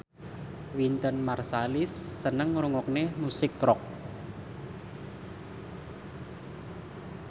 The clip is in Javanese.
Wynton Marsalis seneng ngrungokne musik rock